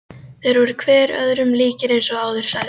Þeir voru hver öðrum líkir eins og áður sagði.